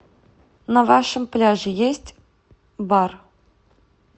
на вашем пляже есть бар